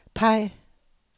peg